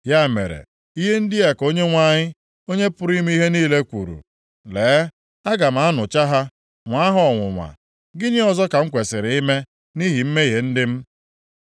Ya mere, ihe ndị a ka Onyenwe anyị, Onye pụrụ ime ihe niile kwuru, “Lee, aga m anụcha ha, nwaa ha ọnwụnwa. Gịnị ọzọ ka m kwesiri ime nʼihi mmehie ndị m?